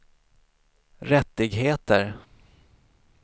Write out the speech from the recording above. rättigheter